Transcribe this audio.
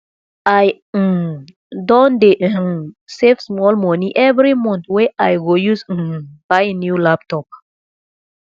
i um don dey um save moni every month wey i go use um buy new laptop